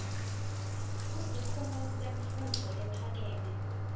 kusikhungo semfundvo lephakeme